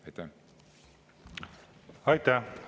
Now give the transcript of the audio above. Aitäh!